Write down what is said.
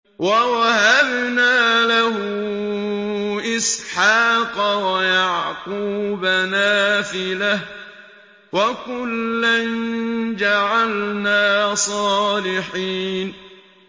وَوَهَبْنَا لَهُ إِسْحَاقَ وَيَعْقُوبَ نَافِلَةً ۖ وَكُلًّا جَعَلْنَا صَالِحِينَ